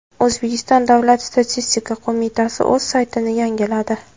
O‘zbekiston Davlat statistika qo‘mitasi o‘z saytini yangiladi.